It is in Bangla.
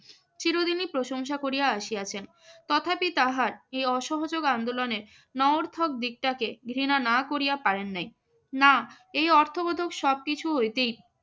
চিরদিনই প্রশংসা করিয়া আসিয়াছেন। তথাপি তাহার এই অসহযোগ আন্দোলনের নঞর্থক দিকটাকে ঘৃণা না করিয়া পারেন নাই। না এই অর্থবোধক সবকিছু হইতেই